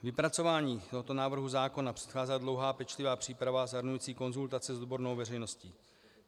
Vypracování tohoto návrhu zákona předcházela dlouhá a pečlivá příprava zahrnující konzultace s odbornou veřejností.